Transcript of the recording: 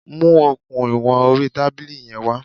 Mu okùn ìwọn orí tábìlì yẹn wá.